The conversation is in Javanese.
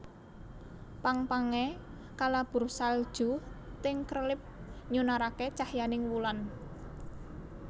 Pang pange kalabur salju ting krelip nyunarake cahyaning wulan